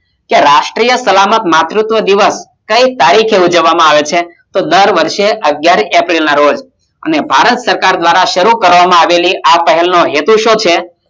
રાષ્ટિય સલામત માં માતુત્વ દિવસ કઈ તારીખે ઉજવ વામાં આવે છે તો દર વર્ષે અગિયાર એપ્રિલે ના રોજ ભારત સરકાર દ્રારા શરુ કરવામાં આવેલી આ પહેલ ના હેતુ શોધ